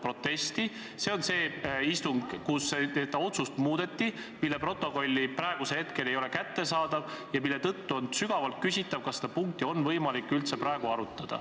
Probleem on istungis, kus seda otsust muudeti ja mille protokolli ei ole seni kättesaadavaks tehtud, mistõttu on sügavalt küsitav, kas seda punkti üldse on võimalik praegu arutada.